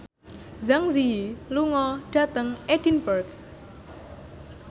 Zang Zi Yi lunga dhateng Edinburgh